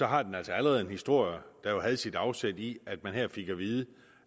har den altså allerede en historie der jo havde sit afsæt i at man her fik at vide